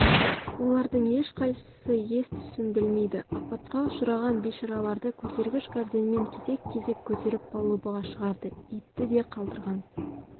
олардың ешқайсысы ес-түсін білмейді апатқа ұшыраған бейшараларды көтергіш горденьмен кезек-кезек көтеріп палубаға шығарды итті де қалдырған